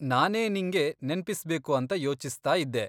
ನಾನೇ ನಿಂಗೆ ನೆನ್ಪಿಸ್ಬೇಕು ಅಂತ ಯೋಚಿಸ್ತಾ ಇದ್ದೆ.